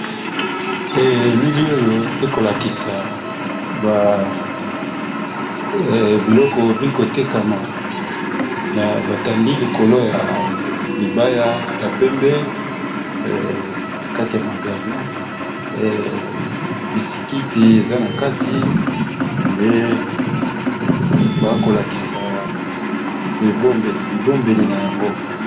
Elili oyo ekolakisa biloko bikotekama na batandi likolo ya libaya ya pembe na kati ya magazin bisikiti eza na kati nde bakolakisa ebombeli bibombeli na yango.